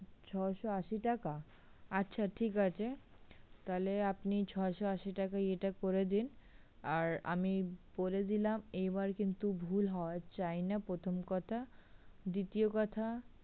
ছয়শো আশি টাকা? আচ্ছা ঠিক আছে তাহলে আপনি ছয়শো আশি টাকা ইয়েটা করে দিন আর আমি বলে দিলাম এবার কিন্তু ভুল হওয়া চাই না প্রথম কথা, দ্বিতীয় কথা